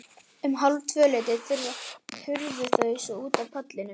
Um hálftvöleytið hurfu þau svo út af ballinu.